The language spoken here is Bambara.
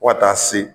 Fo ka taa se